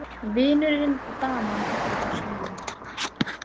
Vinurinn og daman úti á svölum.